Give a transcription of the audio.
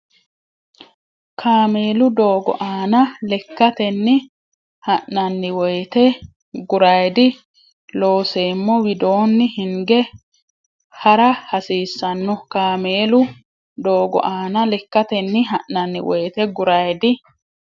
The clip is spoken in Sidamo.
Kaameelu doogo aana lekkatenni ha nanni woyte guraydi Looseemmo widoonni hinge ha ra hasiissanno Kaameelu doogo aana lekkatenni ha nanni woyte guraydi.